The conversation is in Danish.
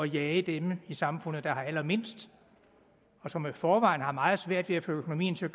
jage dem i samfundet der har allermindst og som i forvejen har meget svært ved at få økonomien til at